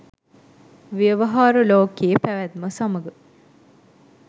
ව්‍යවහාර ලෝකයේ පැවැත්ම සමඟ